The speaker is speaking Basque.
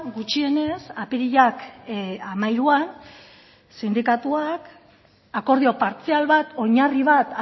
gutxienez apirilak hamairuan sindikatuak akordio partzial bat oinarri bat